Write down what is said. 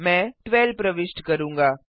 मैं 12 प्रविष्ट करूंगा